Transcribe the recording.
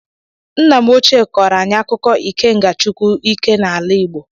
Nna m ochie kọrọ anyi akuko Ikenga Chukwu ike n'ala igbo.